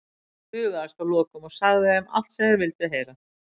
Hann bugaðist að lokum og sagði þeim allt sem þeir vildu heyra.